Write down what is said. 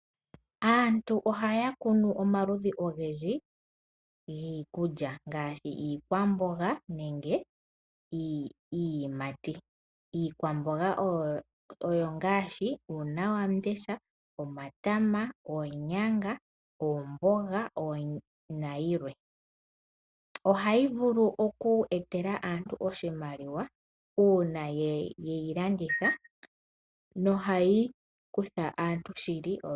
Aantu ohaya kunu omaludhi ogendji giikulya ngaashi iikwamboga niiyimati. Iikwamboga oyo ngaashi; uunawandesha, omatama, oonyanga, omboga na yilwe. Ohayi vulu oku etela aantu oshimaliwa uuna ye yi landitha no hayi kutha aantu ondjala shili.